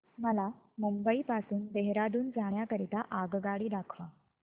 मला मुंबई पासून देहारादून जाण्या करीता आगगाडी दाखवा